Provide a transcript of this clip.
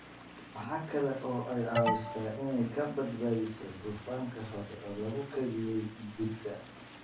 Waxa kale oo ay caawisaa in ay burburiso dufanka hore loogu kaydiyay jidhka.